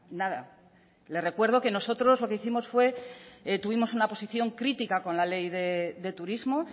nada le recuerdo que nosotros lo que hicimos fue tuvimos una posición crítica con la ley de turismo